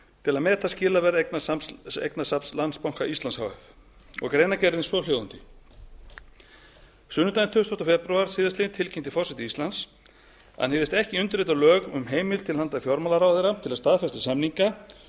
til að meta skilaverð eignasafns landsbanka íslands h f greinargerðin er svohljóðandi sunnudaginn tuttugasta febrúar síðastliðinn tilkynnti forseti íslands að hann hygðist ekki undirrita lög um heimild til handa fjármálaráðherra til að staðfesta samninga